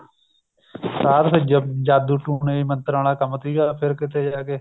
ਸਾਧ ਫੇਰ ਜਾਦੂ ਟੂਣੇ ਮੰਤਰਾਂ ਵਾਲਾ ਕੰਮ ਸੀਗਾ ਫ਼ਿਰ ਕੀਤੇ ਜਾ ਕੇ